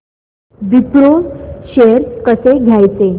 Wipro shares कसे घ्यायचे